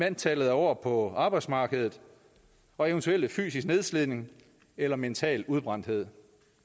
antallet af år på arbejdsmarkedet og eventuel fysisk nedslidning eller mental udbrændthed